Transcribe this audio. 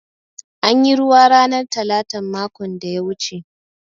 An yi ruwa ranar talatan makon da ya wuce.